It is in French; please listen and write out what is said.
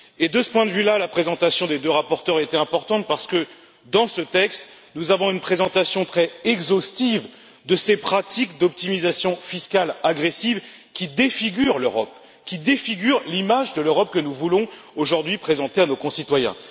De ce point de vue, la présentation des deux rapporteurs était importante parce que, dans ce texte, nous avons une présentation très exhaustive de ces pratiques d'optimisation fiscale agressive qui défigurent l'Europe et l'image de l'Europe que nous voulons aujourd'hui présenter à nos concitoyens.